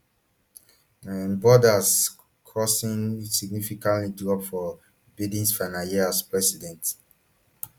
um border crossings significantly drop for bidens final year as president